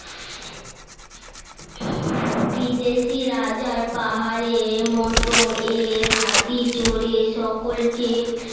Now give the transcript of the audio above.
বিদেশি রাজার পাহাড়ের মতো এক হাতি চরে সকলকে